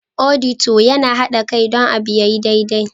" Auditor" Yana hada Kai don abu ya yi daidai.